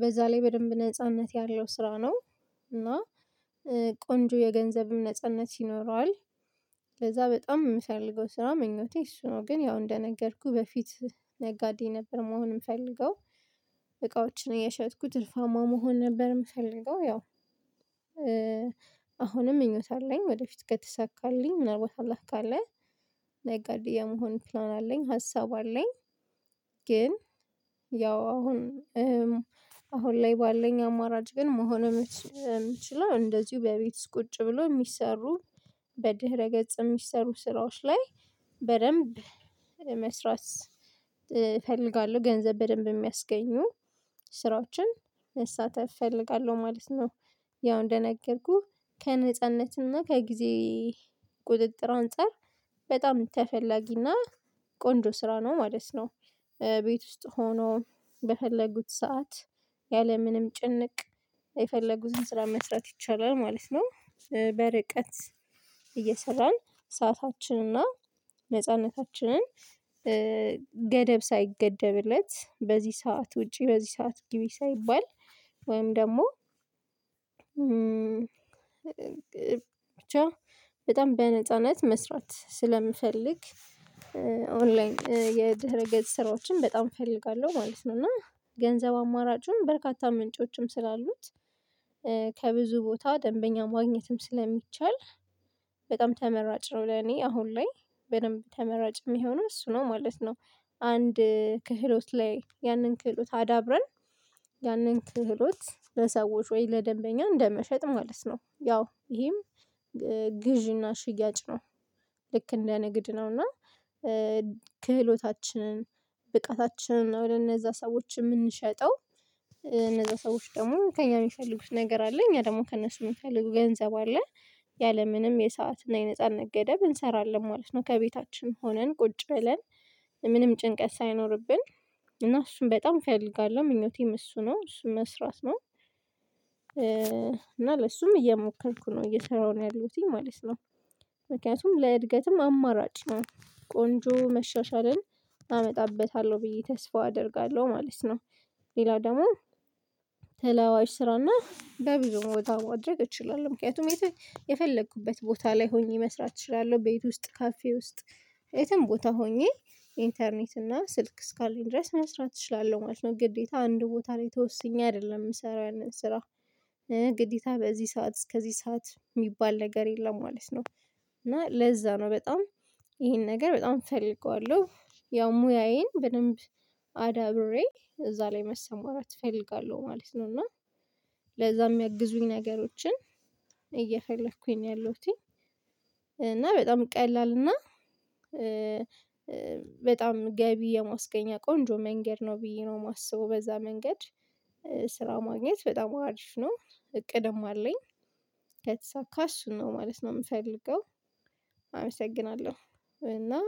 በዛ ላይ በደንብ ነጻነት ያለው ስራ ነው እና ቆንጆ የገንዘብም ነጻነት ይኖረዋል ስለዛ በጣም የምፈልገው ስራ ምኞቴ እሱ ነው ግን ያው እንደነገርኩህ በፊት ነጋዴ ነበር መሆን የምፈልገው እቃዎችን እነሸጥኩት ትርፋማ መሆን ነበር የምፈልገው ያው ምኞት አለኝ ወደፊት ከተሳካልኝ ምናልባት አላህ ካለ ነጋዴ የመሆን ፕላን አለኝ ሀሳብ አለኝ ግን ያው አሁን አሁን ላይ ባለኝ አማራጭ ግን መሆን የምችለው እንደዚሁ በቤት ውስጥ ቁጭ ብሎ የሚሰሩ በድህረ ገጽ የሚሰሩ ስራዎች ላይ በደንብ መስራት እፈልጋለሁ ገንዘብ በደንብ የሚያስገኙ ስራዎችን መሣተፍ እፈልጋለሁ ማለት ነው ያው እንደነገርኩህ ከነጻነትና ከጊዜ ቁጥጥር አንፃር በጣም ተፈላጊና ቆንጆ ስራ ነው ማለት ነው፤ ቤት ውስጥ ሆኖ በፈለጉት ሰዓት ያለምንም ጭንቅ የፈለጉትን ስራ መስራት ይቻላል ማለት ነው፤ በርቀት እየሰራን ሰዓታችንና ነጻነታችንን ገደብ ሳይገደብለት በዚህ ሰዓት ውጪ በዚህ ሰዓት ግቢ ሳይባል ወይም ደግሞ ብቻ በጣም በነጻነት መስራት ስለምፈልግ ኦን ላይን የደረገጽ ስራዎችን በጣም እፈልጋለሁ ማለት ነው እና ገንዘብ አማራጩን በርካታ ምንጮችም ስላሉት ከብዙ ቦታ ደንበኛ ማግኘትም ስለሚቻል በጣም ተመራጭ ነው ለኔ አሁን ላይ በደንብ ተመራጭ የሚሆነው እሱ ነው ማለት ነው፤ አንድ ክህሎት ላይ ያንን ክህሎት አዳብረን ያንን ክህሎት ለሰዎች ወይ ለደንበኛ እንደመሸጥ ማለት ነው ያው ይሄም ግዢና ሽያጭ ነው ልክ እንደ ንግድ ነው እና ክህሎታችንን ብቃታችንን እነዛ ሰዎችን የምንሸጠው እነዛ ሰዎች ደግሞ ከእኛ የሚፈልጉት ነገር አለ እኛ ደግሞ ከእነሱ የምንፈልገው ገንዘብ አለ ያለምንም የሰዓትና የነፃ ገደብ እንሰራለን ማለት ነው ከቤታችን ሆነን ቁጭ ብለን ምንም ጭንቀት ሳይኖርብን እና እሱን በጣም እፈልጋለሁ ምኞቴም እሱ ነው እሱን መስራት ነው እና ለሱም እየሞከርኩ ነው እየሰራሁ ነው ያለሁትኝ ማለት ነው ምክንያቱም ለእድገትም አማራጭ ነው ቆንጆ መሻሻልን አመጣበታለሁ ብዬ ተስፋ አደርጋለሁ ማለት ነው። ሌላው ደግሞ ተለዋዋጭ ስራና በብዙ ቦታ ማድረግ እችላለሁ ምክንያቱም የት የፈለኩበት ቦታ ላይ ሆኜ መስራት እችላለሁ ቤት ውስጥ ካፌ ውስጥ የትም ቦታ ሆኜ ኢንተርኔት እና ስልክ እስካለኝ ድረስ መስራት እችላለሁ ማለት ነው ግዴታ አንድ ቦታ ላይ ተወስኜ አይደለም የምሰራው ያንን ስራ ግዴታ በዚህ ሰዓት እስከዚህ ሰዓት የሚባል ነገር የለም ማለት ነው እና ለዛ ነው በጣም ይሄን ነገር በጣም እፈልገዋለሁ ያው ሙያዬን በደንብ አዳብሬ እዛ ላይ መሰማራት እፈልጋለሁ ማለት ነው እና ለዛም ያግዙኝ ነገሮችን እየፈለኩኝ ነው ያለሁትኝ እና በጣም ቀላል እና በጣም ገቢ የማስገኛ ቆንጆ መንገድ ነው ብዬ ነው የማስበው በዛ መንገድ ስራ ማግኘት በጣም አሪፍ ነው እቅድም አለኝ ካሽ ነው ማለት ነው የምፈልገው አመሰግናለሁ እና